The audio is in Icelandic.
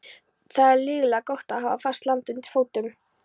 Það er lygilega gott að hafa fast land undir fótum.